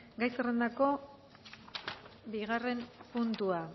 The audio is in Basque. gai zerrendako bigarren puntua